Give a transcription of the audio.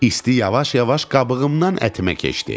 İsti yavaş-yavaş qabığımdan ətimə keçdi.